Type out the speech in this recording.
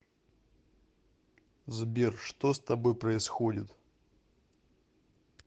сбер что с тобой происходит